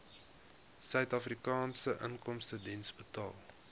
suidafrikaanse inkomstediens betaal